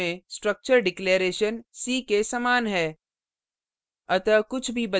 c ++ में structure declaration declaration c के समान है